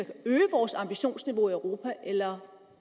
øge vores ambitionsniveau i europa eller